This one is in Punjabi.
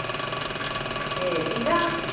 ਏ ਕੀਹਦਾ?